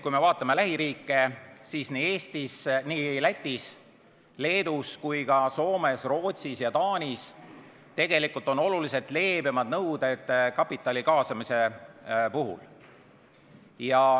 Kui me vaatame lähiriike, siis nii Lätis ja Leedus kui ka Soomes, Rootsis ja Taanis on oluliselt leebemad nõuded kapitali kaasamise puhul.